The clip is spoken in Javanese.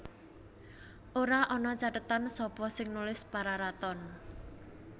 Ora ana cathetan sapa sing nulis Pararaton